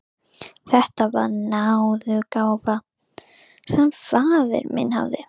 Þetta var náðargáfa sem faðir minn hafði.